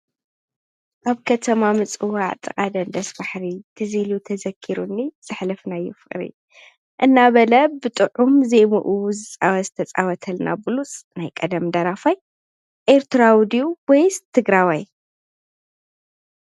ኣብ ከተማ ምጽዋዕ ጥቓደን ደስ ባሕሪ ትዚኢሉ ተዘኪሩኒ ጸኅለፍና ይፍቕሪ እናበለ ብጥዑም ዘይሙኡዝፃወ ዝተፃወተልና ብሉስ ናይ ቀደም ዳራፋይ ኤርትራውድዩ ወይስ ትግራዋይ?